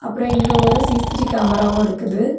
அப்புறம் இங்கே ஒரு சி_சி_டி_வி கேமராவும் இருக்குது.